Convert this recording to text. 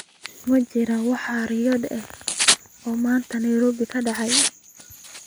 ma jiraan wax riwaayado ah oo maanta nairobi ka dhacaya